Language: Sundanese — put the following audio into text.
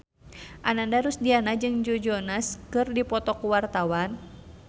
Ananda Rusdiana jeung Joe Jonas keur dipoto ku wartawan